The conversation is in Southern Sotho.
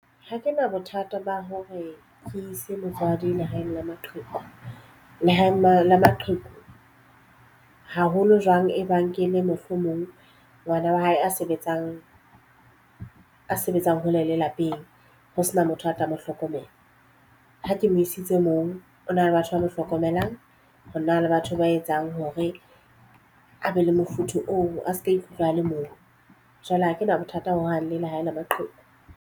Ha ke na bothata ba hore ke ise motswadi lehaeng la maqheku. Lehaeng la maqheku haholo jwang e ba nkele mohlomong ngwana wa hae a sebetsang a sebetsang hole le lapeng ho sena motho a tla mo hlokomela. Ha ke mo isitse moo ho na le batho ba mo hlokomelang, ho na le batho ba etsang hore a be le mofuthu oo a seke a ikutlwa a le mong. Jwale ha ke na bothata ho hang le lehae la maqheku.